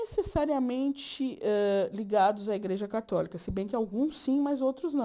não necessariamente ligados hã à Igreja Católica, se bem que alguns sim, mas outros não.